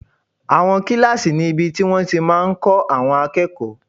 Àwọn kílásì níbi tí wọ́n ti máa n kọ́ àwọn akẹ́kọ̀ọ́